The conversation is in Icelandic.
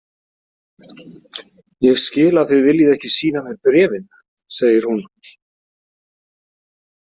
Ég skil að þið viljið ekki sýna mér bréfin, segir hún.